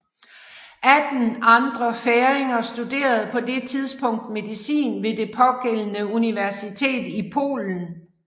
Atten andre færinger studerede på det tidspunkt medicin ved det pågældende universitet i Polen